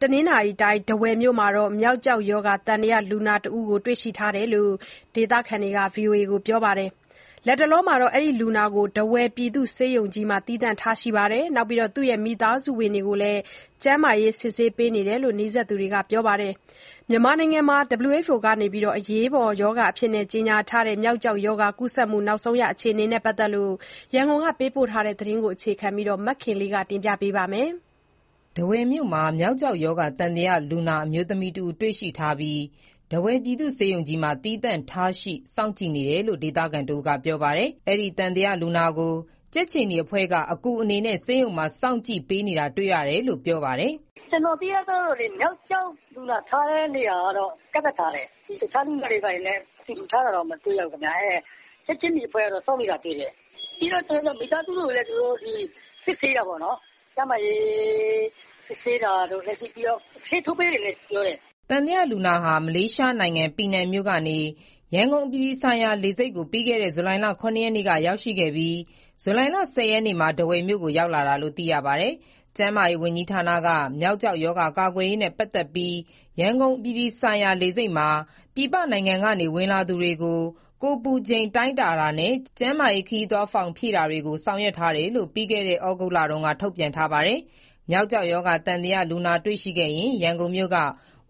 တနင်္သာရီတိုင်း၊ ထားဝယ်မြို့မှာ မျောက်ကျောက်ရောဂါ သံသယလူနာတဦး တွေ့ရှိထားတယ်လို့ ဒေသခံတွေက ပြောပါတယ်။ လူနာကို ထားဝယ်ပြည်သူ့ဆေးရုံကြီးမှာ သီးသန့်ထားရှိပြီးတော့ မိသားစုဝင်တွေကိုလည်း ကျန်းမာရေးစစ်ဆေးနေတယ်လို့ နီးစပ်သူတွေက ပြောပါတယ်။ မြန်မာနိုင်ငံမှာ မျောက်ကျောက်ရောဂါ ကူးစက်မှုအခြေအနေနဲ့ ပတ်သက်လို့ ရန်ကုန်က သတင်းပေးပို့ ထားတာကို အခြေခံပြီး တင်ပြထားပါတယ်။ ထားဝယ်မြို့မှာ မျောက်ကျောက်ရောဂါ သံသယလူနာ အမျိုးသမီးတဦး တွေ့ရှိထားပြီး၊ ထားဝယ်ပြည်သူ့ဆေးရုံကြီးမှာ သီးသန့်ထားရှိ စောင့်ကြည့်နေတယ်လို့ ဒေသခံတဦးက ပြောပါတယ်။ အဲဒီသံသယလူနာကို ကြက်ခြေနီအဖွဲ့က အကူအနေနဲ့ ဆေးရုံမှာ စောင့်ကြည့်ပေးနေတာ တွေ့ရတယ်လို့ ပြောပါတယ်။ "ကျနော်သိရသလောက်တော့ မျောက်ကျောက် (သံသယ) လူနာထားတဲ့ နေရာကတော့ ကန့်သတ်ထားတယ်။ တခြားလူနာတွေ ဘာတွေနဲ့ အတူတူထားတာတော့ မတွေ့ရဘူးခင်ဗျ။ ကြက်ခြေနီအဖွဲ့ကတော့ စောင့်နေတာတွေ့တယ်။ ပြီးတော့ မိသားစုဝင်တွေကိုလည်း သူတို့စစ်ဆေးတာပေါ့နော်။ ကျန်းမာရေး စစ်ဆေးတာတို့၊ ပြီးတော့ ဆေးထိုးပေးတယ်လည်း ပြောတယ်။" သံသယလူနာဟာ မလေးရှားနိုင်ငံ၊ ပီနန်မြို့ကနေ ရန်ကုန်အပြည်ပြည်ဆိုင်ရာ လေဆိပ်ကို ပြီးခဲ့တဲ့ ဇူလိုင်လ ၇ ရက်နေ့က ရောက်ရှိခဲ့ပြီး၊ ဇူလိုင်လ ၁၀ ရက်နေ့မှာ ထားဝယ်မြို့ကို ရောက်လာတာလို့ သိရပါတယ်။ ကျန်းမာရေးဝန်ကြီးဌာနက မျောက်ကျောက်ရောဂါ ကာကွယ်ရေးနဲ့ ပတ်သက်ပြီး ရန်ကုန်အပြည်ပြည်ဆိုင်ရာ လေဆိပ်မှာ ပြည်ပနိုင်ငံကနေ ဝင်လာသူတွေကို ကိုယ်ပူချိန်တိုင်းတာနဲ့ ကျန်းမာရေး ခရီးသွားဖောင်ဖြည့်တာတွေကို ဆောင်ရွက်ထားတယ်လို့ ပြီးခဲ့တဲ့ ဩဂုတ်လတုန်းက ထုတ်ပြန်ထားပါတယ်။ မျောက်ကျောက်ရောဂါ သံသယလူနာ တွေ့ရှိခဲ့ရင် ရန်ကုန်မြို့က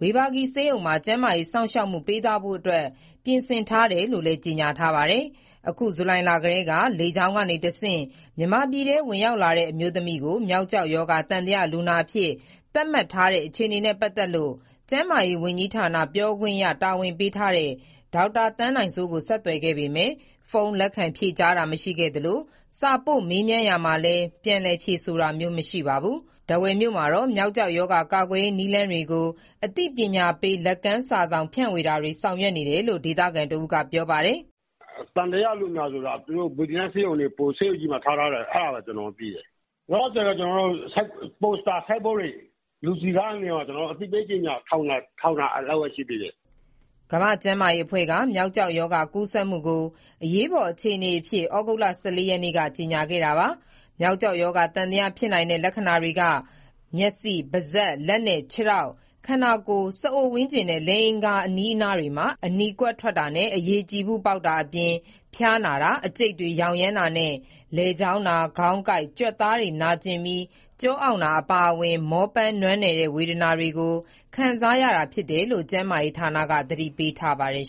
ဝေဘာဂီဆေးရုံမှာ ကျန်းမာရေးစောင့်ရှောက်မှု ပေးသွားဖို့အတွက် ပြင်ဆင်ထားတယ်လို့လည်း ကြေညာထားပါတယ်။ အခု ဇူလိုင်လကတည်းက လေကြောင်းကနေတဆင့် မြန်မာပြည်ထဲ ဝင်ရောက်လာတဲ့ အမျိုးသမီးကို မျောက်ကျောက်ရောဂါ သံသယလူနာအဖြစ် သတ်မှတ်ထားတဲ့ အခြေအနေနဲ့ပတ်သက်လို့ ကျန်းမာရေးဝန်ကြီးဌာန ပြောခွင့်ရတာဝန်ပေးထားတဲ့ ဒေါက်တာသန်းနိုင်စိုးကို ဆက်သွယ်ခဲ့ပေမယ့် ဖုန်းလက်ခံဖြေကြားတာ မရှိခဲ့သလို၊ စာပို့မေးမြန်းရာမှာလည်း ပြန်လည်ဖြေဆိုတာမျိုး မရှိခဲ့ပါဘူး။ ထားဝယ်မြို့မှာတော့ မျောက်ကျောက်ရောဂါ ကာကွယ်ရေးနည်းလမ်းတွေကို အသိပညာပေး လက်ကမ်းစာစောင် ဖြန့်ဝေတာ ဆောင်ရွက်ထားတယ်လို့ ဒေသခံတဦးက ပြောပါတယ်။ "သံသယလူနာကို သူတို့ဆေးရုံကြီးမှာထား ထားတယ်ဆိုတာပဲ ကျနော်တို့သိတယ်။ လောလောဆယ်တော့ ပိုစတာ ဆိုင်းဘုတ်တွေကို လူစည်ကားတဲ့ နေရာတွေမှာ အသိပေးကြေညာ ဒါလောက်ပဲရှိသေးတယ်။" ကမ္ဘာ့ကျန်းမာရေးအဖွဲ့က မျောက်ကျောက်ရောဂါ ကူးစက်မှုကို အရေးပေါ်အခြေအနေအဖြစ် ဩဂုတ်လ ၁၄ ရက်နေ့က ကြေညာခဲ့ပါတယ်။ မျောက်ကျောက်ရောဂါ သံသယဖြစ်နိုင်တဲ့ လက္ခဏာတွေက မျက်စိ၊ ပါးစပ်၊ လက်နဲ့ ခြေထောက်၊ ခန္ဓာကိုယ်၊ စအိုဝန်းကျင်နဲ့ လိင်အင်္ဂါ အဲဒီနေရာတွေမှာ အနီကွက်ထွက်တာနဲ့ အရည်ကြည်ဖုပေါက်တာအပြင် ဖျားနာတာ၊ အကျိတ်တွေရောင်ရမ်းတာနဲ့ လည်ချောင်းနာ၊ ခေါင်းကိုက်၊ ကြွက်သားတွေနာကျင်ပြီး ကျောအောင့်တာ အပါအဝင် မောပန်းနွမ်းနယ်တဲ့ ဝေဒနာတွေကို ခံစားရတာဖြစ်တယ်လို့ ကျန်းမာရေးဌာနက သတိပေးထားပါတယ်